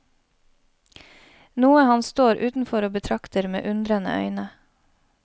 Noe han står utenfor og betrakter med undrende øyne.